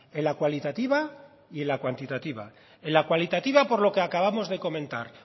en la cualitativa y en la cuantitativa en la cualitativa por lo que acabamos de comentar